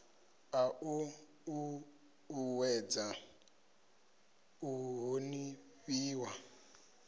a u uuwedza u honifhiwa